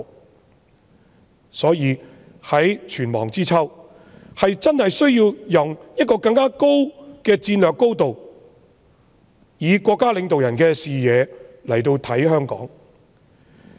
因此，際此存亡之秋，真的需要從更高的戰略高度，以國家領導人的視野來審視香港的情況。